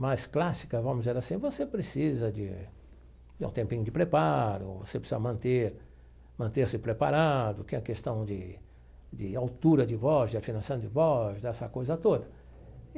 mas clássica, vamos dizer assim, você precisa de de um tempinho de preparo, você precisa manter, manter-se preparado, que é a questão de de altura de voz, de afinação de voz, dessa coisa toda.